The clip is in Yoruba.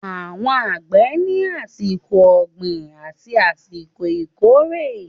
Àwọn àgbẹ̀ ní àsìkò ọ̀gbìn àti àsìkò ìkórè